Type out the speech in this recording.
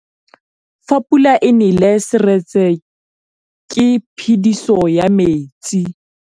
Fa pula e nelê serêtsê ke phêdisô ya metsi.